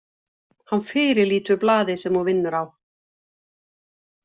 Hann fyrirlítur blaðið sem þú vinnur á.